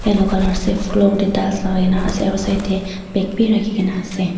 yellow colour ase floor tae tiles lakai kaena ase aro side tae bag bi rakhi kaena ase.